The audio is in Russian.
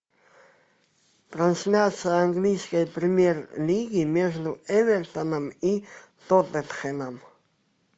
трансляция английской премьер лиги между эвертоном и тоттенхэмом